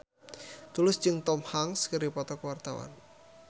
Tulus jeung Tom Hanks keur dipoto ku wartawan